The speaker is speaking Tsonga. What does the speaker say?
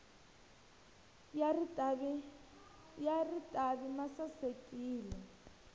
ya ritavi ma sasekile